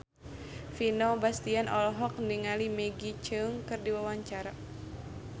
Vino Bastian olohok ningali Maggie Cheung keur diwawancara